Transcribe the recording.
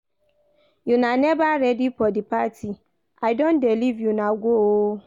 Una never ready for the party? I don dey leave una go oo